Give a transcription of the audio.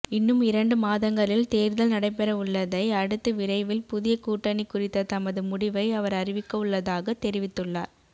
இன்னும் இரண்டு மாதங்களில் தேர்தல் நடைபெறவுள்ளதை அடுத்து விரைவில் புதிய கூட்டணி குறித்த தமது முடிவை அவர் அறிவிக்கவுள்ளதாக தெரிவித்துள்ளார்